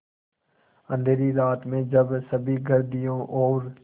अँधेरी रात में जब सभी घर दियों और